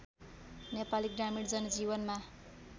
नेपाली ग्रामीण जनजीवनमा